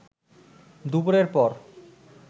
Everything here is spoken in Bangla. দুপুরের পর